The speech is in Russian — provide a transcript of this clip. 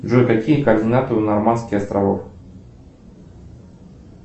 джой какие координаты у нормандских островов